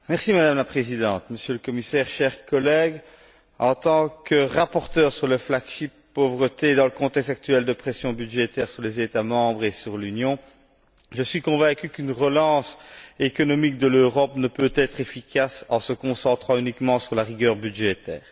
Madame la Présidente, Monsieur le Commissaire, chers collègues, en tant que rapporteur sur l'initiative phare de lutte contre la pauvreté dans le contexte actuel de pression budgétaire sur les États membres et sur l'Union, je suis convaincu qu'une relance économique de l'Europe ne peut être efficace si l'on se concentre uniquement sur la rigueur budgétaire.